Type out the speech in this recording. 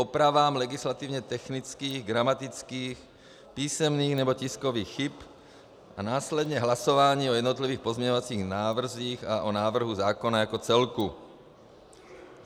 Opravám legislativně technických, gramatických, písemných nebo tiskových chyb a následně hlasování o jednotlivých pozměňovacích návrzích a o návrhu zákona jako celku.